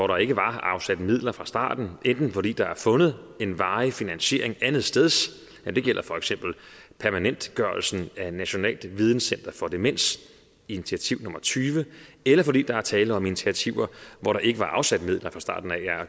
der ikke var afsat midler til fra starten enten fordi der er fundet en varig finansiering andetsteds det gælder for eksempel permanentgørelsen af nationalt videncenter for demens initiativ nummer tyve eller fordi der er tale om initiativer hvor der ikke var afsat midler fra starten af